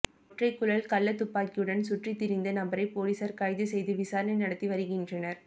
ஒற்றைக் குழல் கள்ள துப்பாக்கியுடன் சுற்றி திறிந்த நபரை போலீசார் கைது செய்து விசாரனை நடத்தி வருகின்றனர்